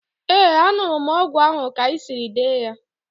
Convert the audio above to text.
Ee, an̄ụrụ m ọgwụ ahụ ka i siri dee ya.